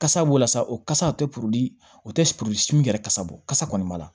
Kasa b'o la sa o kasa o tɛ o tɛ sin min yɛrɛ kasa bɔ kasa kɔni b'a la